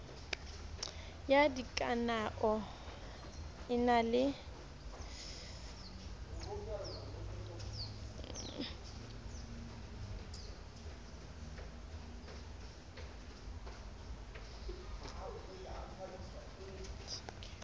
ya dikanao e na le